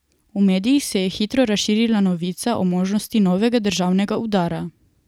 V medijih se je hitro razširila novica o možnosti novega državnega udara.